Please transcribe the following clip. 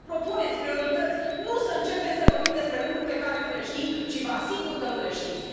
Să propuneți priorități, nu să începem să vorbim despre lucruri pe care nu le știm și vă asigur că nu le știți.